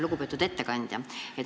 Lugupeetud ettekandja!